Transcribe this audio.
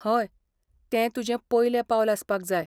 हय, तें तुजें पयलें पावल आसपाक जाय.